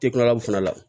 Te kila o fana la